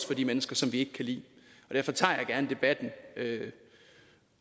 for de mennesker som vi ikke kan lide derfor tager jeg gerne debatten